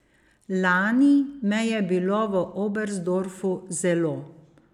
Lani me je bilo v Oberstdorfu zelo.